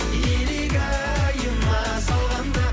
илигайыма салғанда